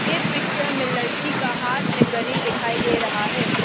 ये पिक्चर में लड़की का हाथ में घड़ी दिखाई दे रहा है।